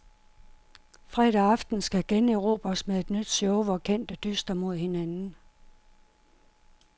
Fredag aften skal generobres med nyt show hvor kendte dyster mod hinanden.